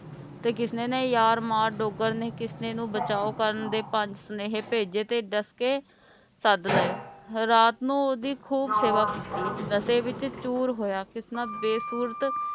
ਤੇ ਕਿਸਨੇ ਦੇ ਯਾਰ ਮਾਰ ਡੋਗਰ ਨੇ ਕਿਸਨੇ ਨੂੰ ਬਚਾਉ ਕਰਨ ਦੇ ਪੰਜ ਸੁਨੇਹੇ ਭੇਜੇ ਤੇ ਡਸਕੇ ਸਦ ਲਏ ਰਾਤ ਨੂੰ ਓਹਦੀ ਖੂਬ ਸੇਵਾ ਕੀਤੀ ਨਸ਼ੇ ਵਿੱਚ ਚੂਰ ਹੋਇਆ ਕਿਸਨਾ ਬੇਸੁਰਤ